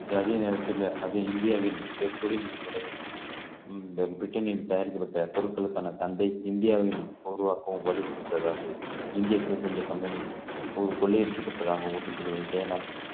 அதே நேரத்துல அது இந்தியாவின் பி~ பிரிட்டனில் தயாரிக்கப்பட்ட பொருட்களுக்கான சந்தை இந்தியாவின் உருவாக்கவும் வழிவகுத்ததாகும் இந்திய கொள்ளையடிக்கப்பட்டதாக மேலும்